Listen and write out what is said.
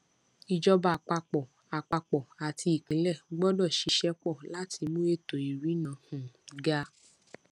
ìjọba àpapọ àpapọ àti ìpínlẹ gbọdọ ṣiṣẹ pọ láti mú ètò ìrìnnà um ga